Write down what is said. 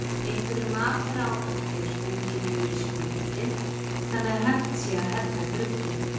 Einhverju mataráhaldi er stungið niður í smjörið þannig að hægt sé að hella grugginu.